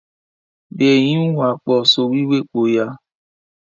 Be e yinuwa po sọwhiwhe po ya?